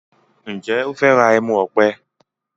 Njé o fè rà ẹmu òpè?